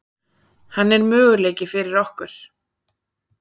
Hann er möguleiki fyrir okkur.